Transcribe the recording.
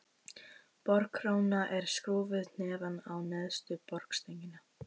Borkróna er skrúfuð neðan á neðstu borstöngina.